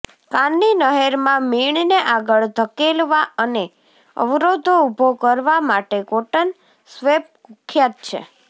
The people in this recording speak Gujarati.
કાનની નહેરમાં મીણને આગળ ધકેલવા અને અવરોધો ઊભો કરવા માટે કોટન સ્વેબ કુખ્યાત છે